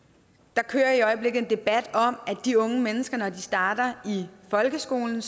der kører i øjeblikket en debat om at de unge mennesker når de starter i folkeskolen